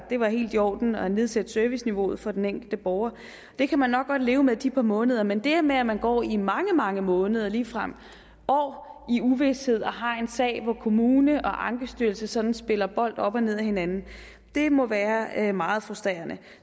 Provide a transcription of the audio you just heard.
var helt i orden at nedsætte serviceniveauet for den enkelte borger det kan man nok godt leve med de par måneder men det her med at man går i mange mange måneder ligefrem år i uvished og har en sag hvor kommunen og ankestyrelsen sådan spiller bold op og ned ad hinanden må være meget frustrerende